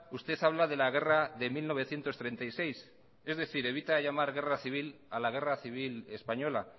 usted habla de la guerra de mil novecientos treinta y seis es decir evita llamar guerra civil a la guerra civil española